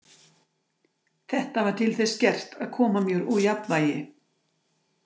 Þetta var til þess gert að koma mér úr jafnvægi.